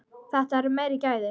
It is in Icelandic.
Þetta eru meiri gæði.